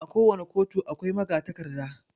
A ko wani ƙotu akwai magatakarda